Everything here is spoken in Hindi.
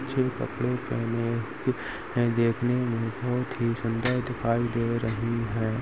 अच्छे कपड़े पहने कुछ हैंदेखने में बहोत ही सुंदर दिखाई दे रही है।